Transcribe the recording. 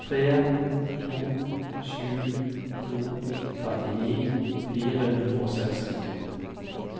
tre to sju to trettini fire hundre og sekstito